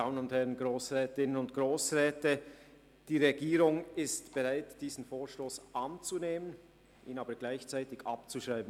Die Regierung ist bereit, diesen Vorstoss anzunehmen, ihn aber gleichzeitig abzuschreiben.